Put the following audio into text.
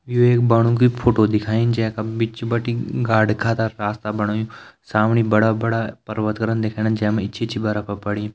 यू एक बणो की फोटो दिखाईं जै का बिच बटि गाड का त रास्ता बणायु सामणी बड़ा बड़ा पर्वत करन दिखेणा जै मा इचि इचि बरफ पड़ीं।